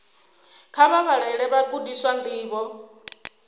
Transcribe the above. kha vha vhalele vhagudiswa ndivho